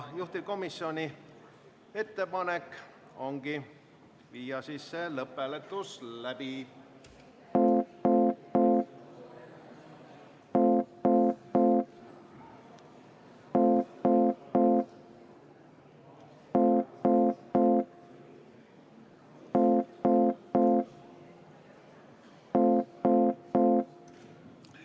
Juhtivkomisjoni ettepanek ongi viia lõpphääletus läbi.